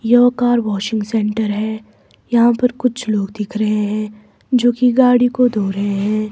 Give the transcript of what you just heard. यह car washing centre है यहाँ पर कुछ लोग दिख रहे हैं जो कि गाड़ी को धो रहे हैं।